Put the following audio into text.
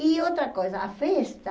E outra coisa, a festa,